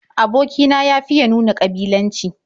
Aboki na ya fiya nuna ƙabilanci.